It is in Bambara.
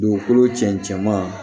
Dugukolo cɛncɛ ma